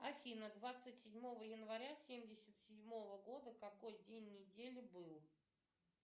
афина двадцать седьмого января семьдесят седьмого года какой день недели был